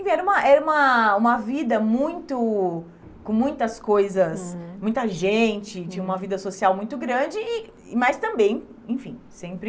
Enfim, era uma era uma uma vida muito... com muitas coisas, uhum, muita gente, tinha uma vida social muito grande, e mas também, enfim, sempre...